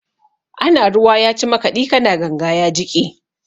Ana ruwa ya ci makaɗi, ka na ganga ya jiƙe.